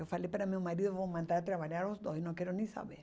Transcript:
Eu falei para meu marido, vamos mandar trabalhar os dois, não quero nem saber.